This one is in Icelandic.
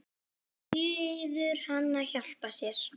Biður hann að hjálpa sér.